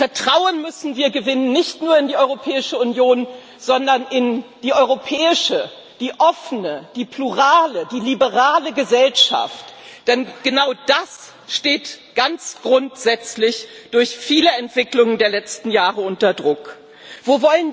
Vertrauen müssen wir gewinnen nicht nur in die Europäische Union, sondern in die europäische, die offene, die plurale, die liberale Gesellschaft, denn genau das steht durch viele Entwicklungen der letzten Jahre ganz grundsätzlich unter Druck.